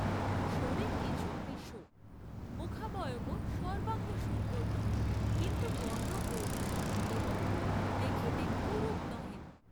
শরীর কিছু কৃশ, মুখাবয়বও সর্ব্বাঙ্গসুন্দর নহে, কিন্তু বর্ণ গৌর এবং দেখিতে কুরূপ নহেন।